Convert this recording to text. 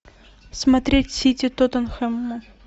смотреть сити тоттенхэм